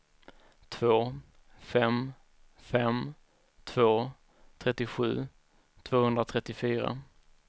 två fem fem två trettiosju tvåhundratrettiofyra